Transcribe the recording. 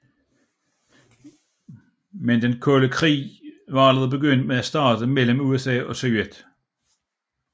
Men den Kolde Krig var allerede begyndt at starte mellem USA og Sovjet